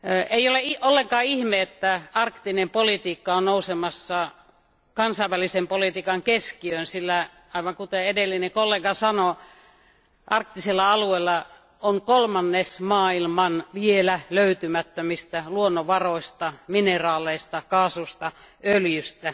Ei ole ollenkaan ihme, että arktinen politiikka on nousemassa kansainvälisen politiikan keskiöön, sillä aivan kuten edellinen kollega sanoi, arktisella alueella on kolmannes maailman vielä löytymättömistä luonnonvaroista mineraaleista, kaasusta ja öljystä.